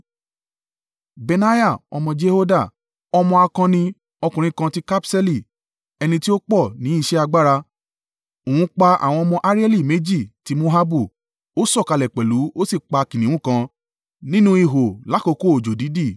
Benaiah, ọmọ Jehoiada, ọmọ akọni ọkùnrin kan tí Kabṣeeli, ẹni tí ó pọ̀ ní iṣẹ́ agbára, òun pa àwọn ọmọ Arieli méjì ti Moabu; ó sọ̀kalẹ̀ pẹ̀lú ó sì pa kìnnìún kan nínú ihò lákoko òjò-dídì.